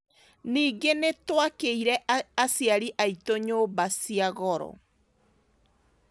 Ningĩ nĩ tũakĩire aciari aitũ nyũmba cia goro.